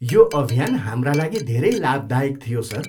यो अभियान हाम्रा लागि धेरै लाभदायक थियो, सर।